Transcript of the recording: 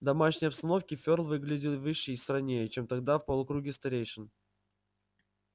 в домашней обстановке ферл выглядел выше и стройнее чем тогда в полукруге старейшин